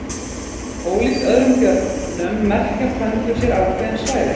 Ólíkt öðrum björnum merkja pöndur sér ákveðin svæði.